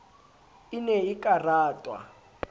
e ne e ka ratwa